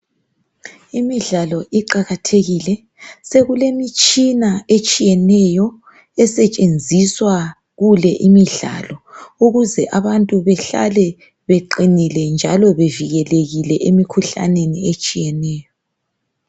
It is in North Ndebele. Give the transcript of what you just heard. Imidlalo iqakathekile. Sekulemitshina etshiyeneyo esetshenziswa kule imidlalo ukuze abantu behlale beqinile njalo bevikelekile emikhuhlaneni etshiyeneyo.